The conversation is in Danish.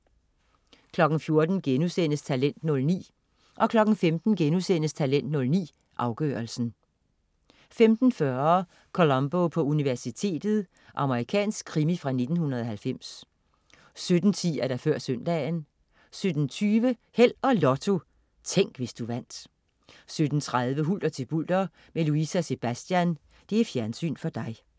14.00 Talent 09* 15.00 Talent 09, afgørelsen* 15.40 Columbo på universitetet. Amerikansk krimi fra 1990 17.10 Før søndagen 17.20 Held og Lotto. Tænk, hvis du vandt 17.30 Hulter til bulter med Louise og Sebastian. Fjernsyn for dig